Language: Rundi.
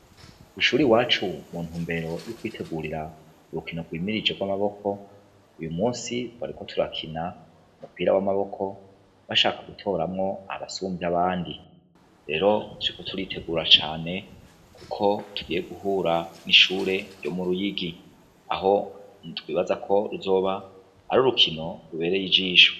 Ishure i wacu muntu mbero y'ukwitegurira urukino rwimirije rw'amaboko uyu musi twariko turakina umupira w'amaboko bashaka gutoramwo abasumvye abandi rero siko turitegura cane, kuko tugiye guhura n'ishure ryo mu ruyigi aho nitbibazako ruzoba ari urukino rubereye ijisho.